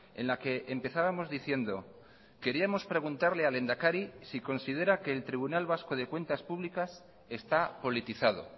en la que empezábamos diciendo queríamos preguntarle al lehendakari si considera que el tribunal vasco de cuentas públicas está politizado